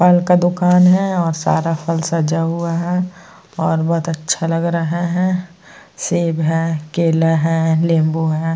फल का दुकान है और सारा फल सजा हुआ है और बोहोत अच्छा लग रहा है। सेब है केला है नींबू है।